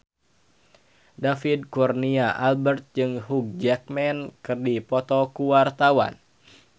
David Kurnia Albert jeung Hugh Jackman keur dipoto ku wartawan